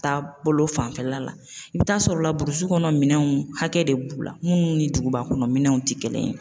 Taa bolo fanfɛla la i bi t'a sɔrɔ la kɔnɔ minɛnw hakɛ de b'u la munnu ni duguba kɔnɔ minɛnw ti kelen ye.